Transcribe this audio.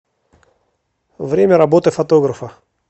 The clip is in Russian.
время работы фотографа